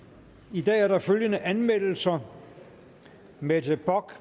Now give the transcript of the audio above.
i dag er der følgende anmeldelser mette bock